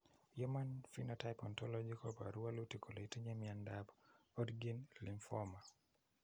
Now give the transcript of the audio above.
Human Phenotype Ontology koporu wolutik kole itinye Miondap Hodgkin lymphoma.